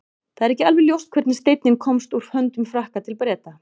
það er ekki alveg ljóst hvernig steinninn komst úr höndum frakka til breta